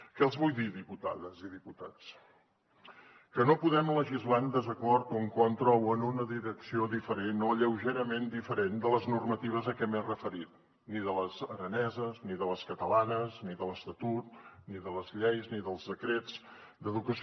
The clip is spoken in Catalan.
què els vull dir diputades i diputats que no podem legislar en desacord o en contra o en una direcció diferent o lleugerament diferent de les normatives a què m’he referit ni de les araneses ni de les catalanes ni de l’estatut ni de les lleis ni dels decrets d’educació